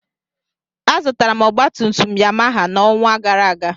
Azụtara m ọgbatumtum Yamaha n'ọnwa gara aga.